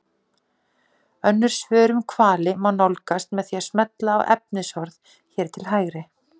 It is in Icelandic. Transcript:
Önnur svör um hvali má nálgast með því að smella á efnisorð hér til hægri.